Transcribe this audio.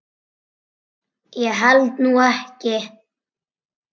Ég held nú ekki!